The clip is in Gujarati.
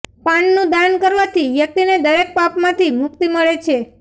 પાનનું દાન કરવાથી વ્યક્તિને દરેક પાપમાંથી મુક્તિ મળે છે